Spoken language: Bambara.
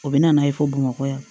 U bɛ na n'a ye fo bamakɔ yan